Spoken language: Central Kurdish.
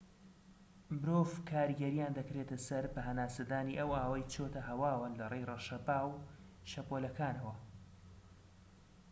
مرۆڤ کاریگەریان دەکرێتە سەر بە هەناسەدانی ئەو ئاوەی چۆتە هەواوە لەڕێی ڕەشەبا و شەپۆلەکانەوە